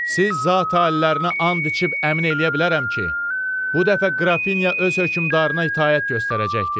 Siz zat alilərinə an içib əmin eləyə bilərəm ki, bu dəfə Qrafinya öz hökmdarına itaət göstərəcəkdir.